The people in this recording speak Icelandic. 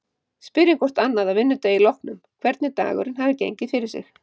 Spyrjum hvort annað að vinnudegi loknum hvernig dagurinn hafi gengið fyrir sig.